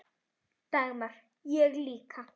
Dagmar Ég líka.